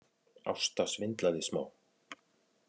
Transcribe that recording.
Ásta svindlaði smá